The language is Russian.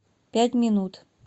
пять минут